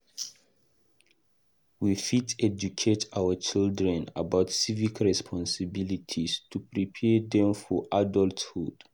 We fit educate our children about civic responsibilities to prepare dem for adulthood.